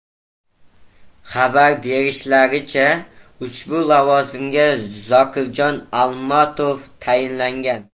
Xabar berishlaricha, ushbu lavozimga Zokirjon Almatov tayinlangan.